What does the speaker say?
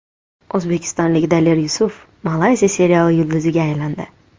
O‘zbekistonlik Daler Yusuf Malayziya seriali yulduziga aylandi.